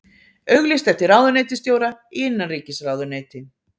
Auglýst eftir ráðuneytisstjóra í innanríkisráðuneyti